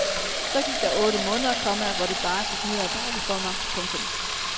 Så gik der otte måneder, komma hvor det bare gik ned ad bakke for mig. punktum